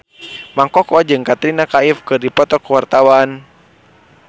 Mang Koko jeung Katrina Kaif keur dipoto ku wartawan